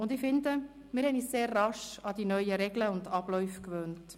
Und ich finde, wir haben uns sehr rasch an die neuen Regeln und Abläufe gewöhnt.